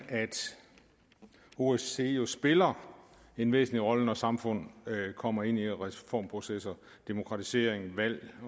osce jo spiller en væsentlig rolle når samfund kommer ind i reformprocesser demokratisering valg